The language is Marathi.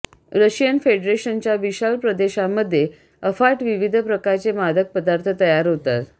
रशियन फेडरेशनच्या विशाल प्रदेशामध्ये अफाट विविध प्रकारचे मादक पदार्थ तयार होतात